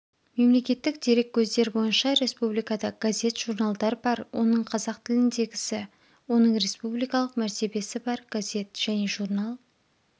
мемлекеттік дереккөздер бойынша республикада газет журналдар бар оның қазақ тіліндегісі оның республикалық мәртебесі бар газет және журнал